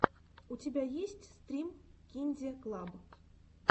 у тебя есть стрим кинде клаб